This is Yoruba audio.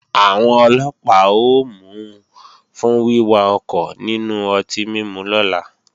Àwọn Ọlọ́pàá ó mú u fún wíwà ọkọ̀ nínú ọtí mímu lọ́la